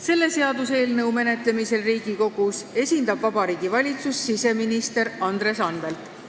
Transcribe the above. Selle seaduseelnõu menetlemisel Riigikogus esindab Vabariigi Valitsust siseminister Andres Anvelt.